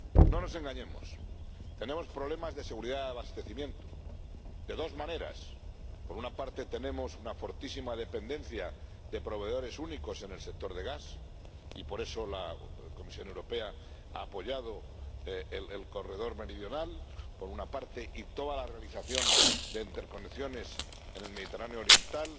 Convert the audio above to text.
No nos engañemos, tenemos problemas de seguridad de abastecimiento de dos maneras por una parte, tenemos una fortísima dependencia de proveedores únicos en el sector del gas —y por eso la Comisión Europea ha apoyado el Corredor Meridional— y, por otra parte, está toda la realización de interconexiones en el Mediterráneo oriental,